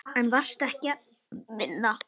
En varstu ekki að vinna?